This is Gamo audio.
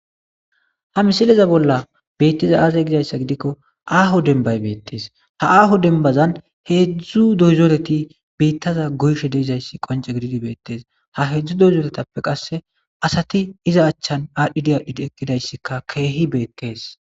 Ha mileza bolla betizay aaze gizaysa gidikon aaho dembay betes, ha aaho dembazan hedzdzu dizoreti bitaza goyizatsi qonce gidid betes, ha hedzdzu dozoretappe qase asatibiza achan adhid adhid eqidaysika keehi betes